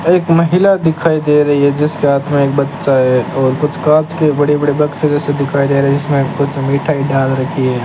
एक महिला दिखाई दे रही है जिसके हाथ में एक बच्चा है और कुछ कांच के बड़े बड़े बक्से जैसे दिखाई दे रहे हैं जिसमें कुछ मिठाई डाल रखी है।